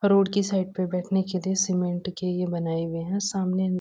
और रोड की साइड पे बैठने के लिए सीमेंट के ये बनाए हुए हैं सामने --